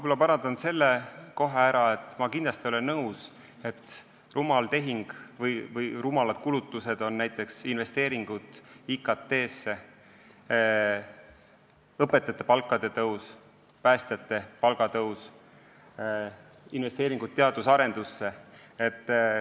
Ma parandan kohe ära, et ma kindlasti ei ole nõus, et rumalad tehingud või rumalad kulutused on näiteks investeeringud IKT-sse, õpetajate palgatõus, päästjate palgatõus, investeeringud teadus- ja arendustegevusse.